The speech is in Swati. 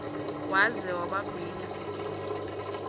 waze wabagwinya sitimela